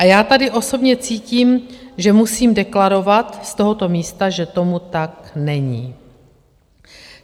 A já tady osobně cítím, že musím deklarovat z tohoto místa, že tomu tak není.